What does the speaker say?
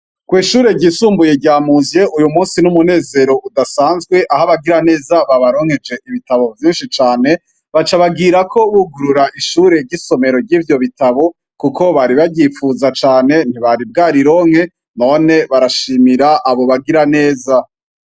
kw’ishure ryisumbuye ryamuzye, uyu munsi n'umunezero udasanzwe aho abagira neza babaronkeje ibitabo vyinshi cane, baca bagirako bugurura ishure ry'isomero ry'ivyo bitabo kuko bari baryipfuza cane ntibari bwarironke, none barashimira abo bagira neza.